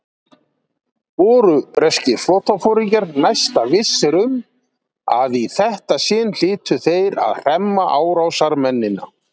Voru breskir flotaforingjar næsta vissir um, að í þetta sinn hlytu þeir að hremma árásarmennina.